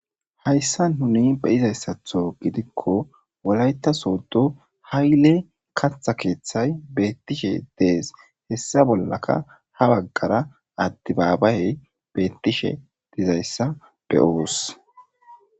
hayssa nuni beyizayssatho gidikko wolayta soodo hayile katha keeththay beettishe dees hessa bollaka ha baggara adibaabayey beettishe dizayssa beyobus